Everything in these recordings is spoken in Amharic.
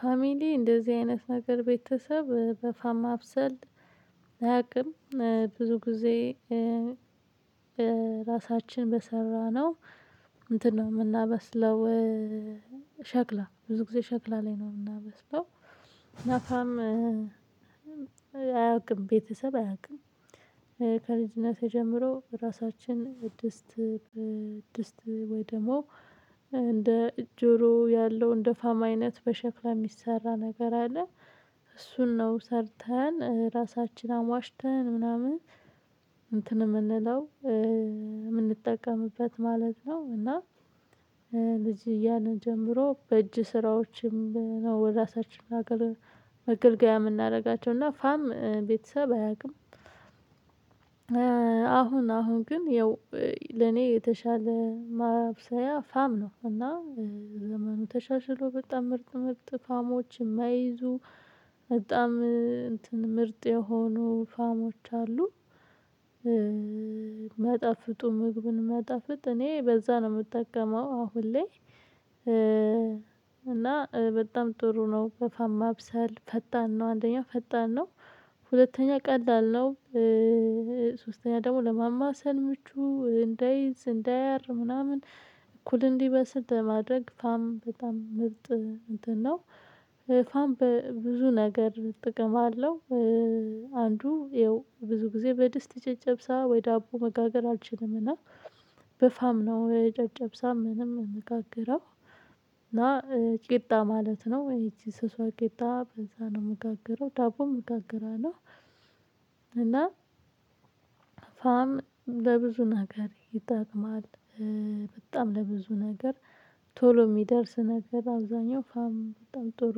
ፋሚሊ እንደዚህ አይነት ነገር ቤተሰብ በፋም ማብሰል አያውቅም። ብዙ ጊዜ ራሳችን በሰራነው እንትን ነው የምናበስለው የምናበስለው። ሸክላ ብዙ ጊዜ ሸክላ ላይ ነው የምናበስለው። እና ፋም አያውቅም ቤተሰብ አያውቅም። ከልጅነቴ ጀምሮ ራሳችን ድስት ድስት ወይ ደግሞ እንደ ጆሮ ያለው እንደ ፋማ አይነት በሸክላ የሚሰራ ነገር አለ። እሱን ነው ሰርተን ራሳችን አሟሽተን ምናምን እንትን የምንለው የምንጠቀምበት ማለት ነው። እና ልጅ እያለን ጀምሮ በእጅ ስራዎችም ወደ ራሳችን እናገልግል መገልገያ የምናደርጋቸው እና ፋም ቤተሰብ አያውቅም። አሁን አሁን ግን ያው ለኔ የተሻለ ማብሰያ ፋም ነው። እና ዘመኑ ተሻሽሎ በጣም ምርጥ ምርጥ ፋሞችን ማይዙ በጣም እንትን ምርጥ የሆኑ ፋሞች አሉ። ሚያጣፍጡ ምግቡን ሚያጣፍጥ እኔ በዛ ነው የምጠቀመው አሁን ላይ። እና በጣም ጥሩ ነው በፋም ማብሰል ፈጣን ነው አንደኛው ፈጣን ነው። ሁለተኛ ቀላል ነው። ሶስተኛ ደግሞ ለማማሰል ምቹ እንዳይዝ እንደያር ምናምን እኩል እንዲበስል ለማድረግ ፋም በጣም ምርጥ እንትን ነው። ፋን በብዙ ነገር ጥቅም አለው። አንዱ ይኸው ብዙ ጊዜ በድስት ጨጨብሳ ወይ ዳቦ መጋገር አልችልምና በፋም ነው የጨጨብሳ ምንም ምንጋግረው። እና ቂጣ ማለት ነው ይቺ ስሷ ቂጣ በዛ ነው የምጋግረው ዳቦ ይጋግራል። እና ፋም ለብዙ ነገር ይጠቅማል። በጣም ለብዙ ነገር ቶሎ የሚደርስ ነገር አብዛኛው ፋም በጣም ጥሩ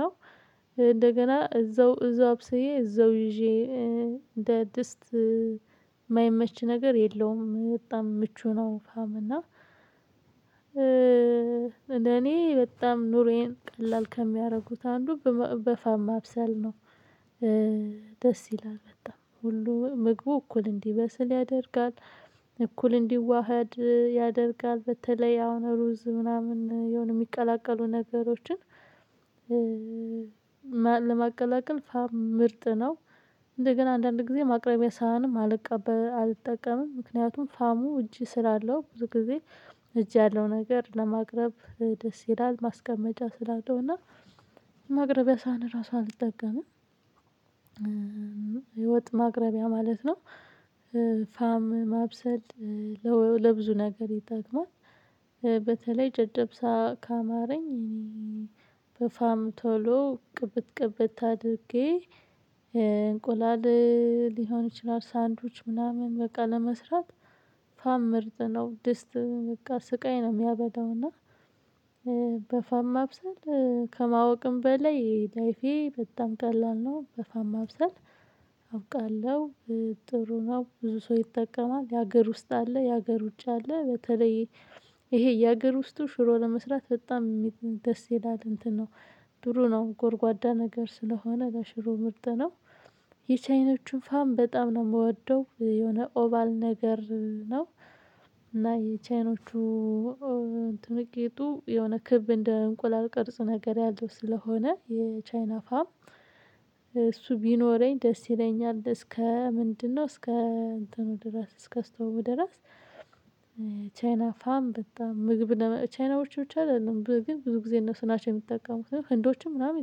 ነው። እንደገና እዛው እዛው አብሰዬ እዛው ይዤ እንደ ድስት የማይመች ነገር የለውም በጣም ምቹ ነው። ፋም እና እኔ በጣም ኑሮየን ቀላል ከሚያደርጉት አንዱ በፋማ ማብሰል ነው። ደስ ይላል በጣም ሁሉ ምግቡ እኩል እንዲበስል ያደርጋል። እኩል እንዲዋሃድ ያደርጋል በተለይ አሁን ሩዝ ምናምን የሆነ የሚቀላቀሉ ነገሮችን። ለማቀላቀል ፋም ምርጥ ነው። እንደገና አንዳንድ ጊዜ ማቅረቢያ ሳህንም አልቀበል አልጠቀምም ምክንያቱም ፋሙ እጅ ስላለው ብዙ ጊዜ እጅ ያለው ነገር ለማቅረብ ደስ ይላል ማስቀመጫ ስላለው እና ማቅረቢያ ሰሃን እራሱ አልጠቀምም። የወጥ ማቅረቢያ ማለት ነው። ፋም ማብሰል ለብዙ ነገር ይጠቅማል። በተለይ ጨጨብሳ ካማረኝ በፋም ቶሎ ቅብት ቅብት አድርጌ እንቁላል ሊሆን ይችላል ሳንድዊች ምናምን በቃ ለመስራት ፋም ምርጥ ነው። ድስት ስቃይ ነው የሚያመጣው እና። በፋም ማብሰል ከማወቅም በላይ የላይፌ በጣም ቀላል ነው። በፋም ማብሰል አውቃለሁ ጥሩ ነው ብዙ ሰው ይጠቀማል። የሀገር ውስጥ አለ የሀገር ውጭ አለ። በተለይ ይሄ የሀገር ውስጥ ሽሮ ለመስራት በጣም ደስ ይላል እንትን ነው። ድሮ ነው ጎርጓዳ ነገር ስለሆነ ለሽሮ ምርጥ ነው። የቻይኖችን ፋም በጣም ነው የምወደው የሆነ ኦባል ነገር ነው። እና የቻይኖቹ ቂጡ የሆነ ክብ እንደ እንቁላል ቅርጽ ነገር ያለው ስለሆነ የቻይና ፋም እሱ ቢኖረኝ ደስ ይለኛል እስከ ምንድነው እስከ እንትኑ ድረስ እስከ ስቶቩ ድረስ። ቻይና ፋም በጣም ምግብ ቻይናዎች ብቻ አይደለም ግን ብዙ ጊዜ እነሱ ናቸው የሚጠቀሙት ህንዶችም ምናምን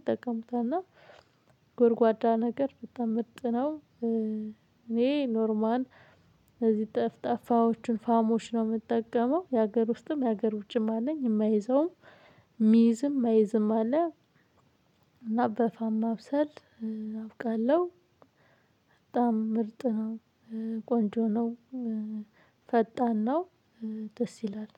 ይጠቀሙታል። እና ጎርጓዳ ነገር በጣም ምርጥ ነው። እኔ ኖርማል እዚህ ጠፍጣፋዎችን ፋሞች ነው የምጠቀመው የሀገር ውስጥም የሀገር ውጭም አለኝ የማይዘውም ሚይዝም ማይዝም አለ። እና በፋማ ማብሰል አውቃለሁ። በጣም ምርጥ ነው። ቆንጆ ነው። ፈጣን ነው። ደስ ይላል